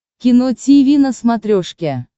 кино тиви на смотрешке